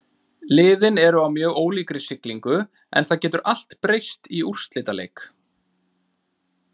Liðin eru á mjög ólíkri siglingu en það getur allt breyst í úrslitaleik.